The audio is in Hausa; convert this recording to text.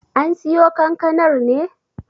An siyo kankanar ne?